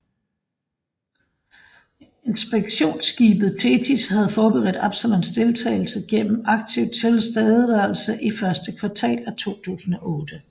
Inspektionsskibet Thetis havde forberedt Absalons deltagelse gennem aktiv tilstedeværelse i første kvartal af 2008